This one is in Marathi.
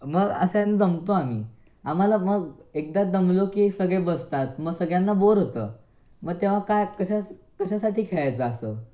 मग अशानं दमतो आम्ही आम्हाला मग एकदा दमलो की सगळे बसतात. मग सगळ्यांना बोर होतं मग तेव्हा काय, कशासाठी खेळायचं असं?